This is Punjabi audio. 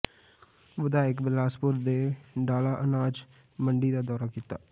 ਵਿਧਾਇਕ ਬਿਲਾਸਪੁਰ ਨੇ ਡਾਲਾ ਅਨਾਜ ਮੰਡੀ ਦਾ ਦੌਰਾ ਕੀਤਾ